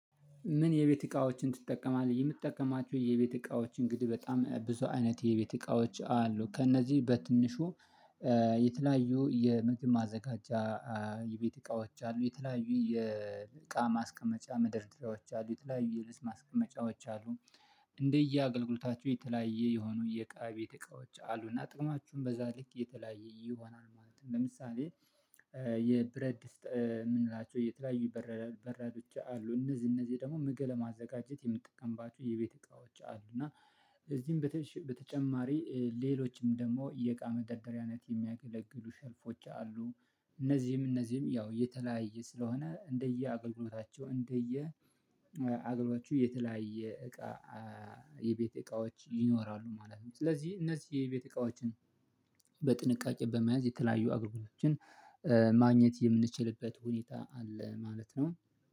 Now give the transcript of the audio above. ምን የቤት እቃዎችን ትጠቀማለህ? የምጠቀማቸው የቤት እቃዎች እንግዲህ በጣም ብዙ አይነት የቤት እቃዎች አሉ ከእነዚህ በትንሹ የተለያዩ የምግብ ማዘጋጃ። የቤት እቃዎች አሉ የተለያዩ የእቃ ማስቀመጫ ምደርደሪያዎች አሉ የተለያዩ የልብስ ማስቀመጫዎች አሉ። እንደየ አገልግሎታቸው የተለያየ የሆኑ የእቃ የቤት እቃዎች አሉና ጥቅማውም በዛ ልክ የተለያየ ይሆናል ማለት ነው። ለምሳሌ የብረት ድስት የምንላቸው የተለያዩ በራዶች አሉ እነዚህ እነዚህ ደግሞ ምግብ ለማዘጋጀት የምንጠቀምባቸው የቤት እቃዎች አሉ። እና ከእነዚህም በተጨማሪ ሌሎችም ደግሞ የእቃ መደርደሪያነት የሚያገለግሉ ሸልፎች አሉ። እነዚህም እነዚህም ያው እየተለያየ ስለሆነ እንደየ አገልግሎታቸው እንደየ አገልግሎታቸው የተለያየ እቃ የቤት እቃዎች ይኖራሉ ማለት ነው። ስለዚህ እነዚህ የቤት እቃዎችን በጥንቃቄ በመያዝ የተለያዩ አገልግሎቶችን ማግኘት የምንችልበት ሁኔታ አለ ማለት ነው